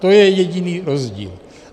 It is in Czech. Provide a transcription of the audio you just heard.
To je jediný rozdíl.